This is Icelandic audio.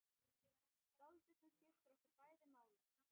Dáldið sem skiptir okkur bæði máli.